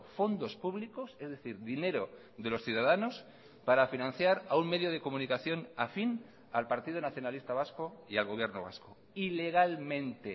fondos públicos es decir dinero de los ciudadanos para financiar a un medio de comunicación afín al partido nacionalista vasco y al gobierno vasco ilegalmente